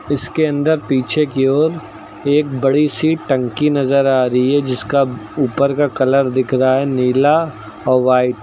इसके अंदर पीछे की ओर एक बड़ी सी टंकी नजर आ रही है जिसका ऊपर का कलर दिख रहा है नीला और व्हाइट ।